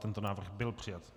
Tento návrh byl přijat.